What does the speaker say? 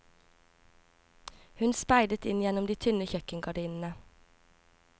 Hun speidet inn gjennom de tynne kjøkkengardinene.